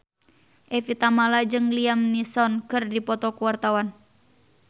Evie Tamala jeung Liam Neeson keur dipoto ku wartawan